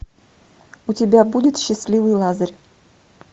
у тебя будет счастливый лазарь